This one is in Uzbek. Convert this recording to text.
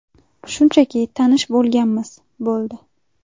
Shunchaki tanish bo‘lganmiz, bo‘ldi.